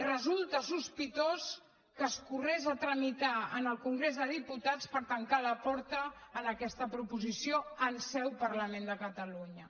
resulta sospitós que es corregués a tramitar en el congrés dels diputats per tancar la porta en aquesta proposició en seu parlament de catalunya